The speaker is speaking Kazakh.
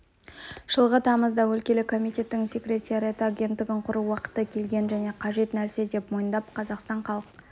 жылғы тамызда өлкелік комитеттің секретариаты агенттігін құру уақыты келген және қажет нәрсе деп мойындап қазақстан халық